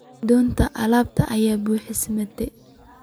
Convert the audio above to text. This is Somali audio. Doonta alab aya buuxsamtey.